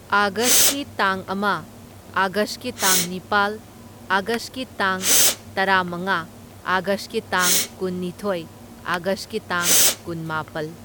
ꯑꯥꯒꯁꯀꯤ ꯇꯥꯡ ꯑꯃ ꯑꯥꯒꯁꯀꯤ ꯇꯥꯡ ꯅꯤꯄꯥꯜ ꯑꯥꯒꯁꯀꯤ ꯇꯥꯡ ꯇꯔꯥꯃꯉꯥ ꯑꯥꯒꯁꯀꯤ ꯇꯥꯡ ꯀꯨꯟꯅꯤꯊꯣꯏ ꯑꯥꯒꯁꯀꯤ ꯇꯥꯡ ꯀꯨꯟꯃꯥꯄꯜ꯫